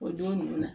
O don ninnu na